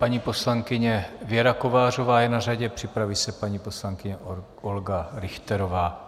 Paní poslankyně Věra Kovářová je na řadě, připraví se paní poslankyně Olga Richterová.